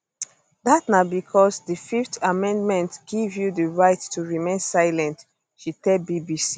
dat na becos di fifth amendment give you di right to remain silent she tell bbc